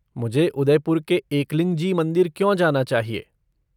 मुझे उदयपुर के एकलिंगजी मंदिर क्यों जाना चाहिए?